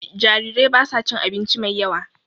Jarirai basu cin abinci mai yawa